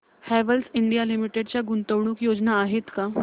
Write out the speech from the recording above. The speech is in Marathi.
हॅवेल्स इंडिया लिमिटेड च्या गुंतवणूक योजना आहेत का